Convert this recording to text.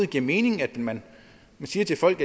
giver mening at man siger til folk